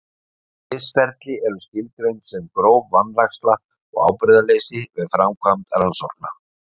Misferli eru skilgreind sem gróf vanræksla og ábyrgðarleysi við framkvæmd rannsókna.